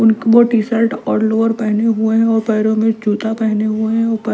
वो टी-शर्ट और लोअर पहने हुए हैं और पैरों में जूता पहने हुए हैं और--